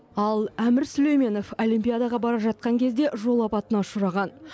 ал әмір сүлейменов олимпиадаға бара жатқан кезде жол апатына ұшыраған